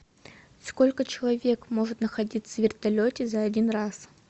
сколько человек может находиться в вертолете за один раз